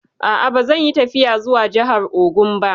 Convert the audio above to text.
A'a, ba zan yi tafiya zuwa jahar Ogun ba